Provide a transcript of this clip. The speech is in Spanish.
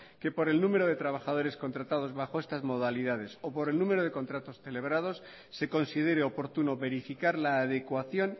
que por el número de trabajadores contratados bajo estas modalidades o por el número de contratos celebrados se considere oportuno verificar la adecuación